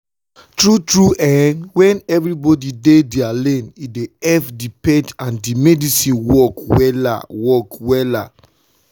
tru tru eh wen everybodi dey dia lane e dey epp di faith and medicine work wella work wella